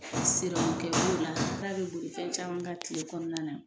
Sirɔmi kɛ b'o la k'a bɛ boli fɛn caman kan kile kɔnɔna na.